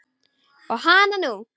Og hananú!